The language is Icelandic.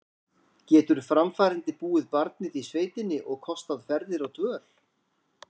Getur framfærandi búið barnið í sveitina og kostað ferðir og dvöl?